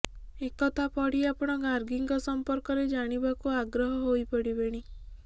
ଏ କଥା ପଢି ଆପଣ ଗାର୍ଗିଙ୍କ ସମ୍ପର୍କରେ ଜାଣିବାକୁ ଆଗ୍ରହୀ ହୋଇପଡିବେଣି